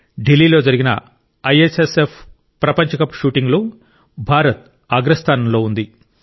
ఢిల్లీ లో జరిగిన ఐఎస్ఎస్ఎఫ్ ప్రపంచ కప్ షూటింగ్లో భారత్ అగ్రస్థానంలో ఉంది